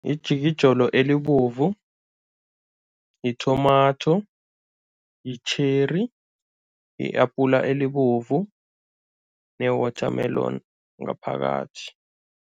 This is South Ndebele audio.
Yijolo elibovu, yi-tomato, yi-cherry, yi-apula elibovu ne-watermelon ngaphakathi.